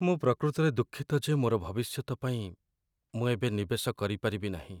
ମୁଁ ପ୍ରକୃତରେ ଦୁଃଖିତ ଯେ ମୋର ଭବିଷ୍ୟତ ପାଇଁ ମୁଁ ଏବେ ନିବେଶ କରିପାରିବି ନାହିଁ।